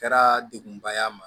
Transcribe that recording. Kɛra degunba ye a ma